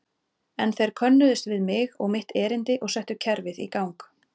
En þeir könnuðust við mig og mitt erindi og settu kerfið í gang.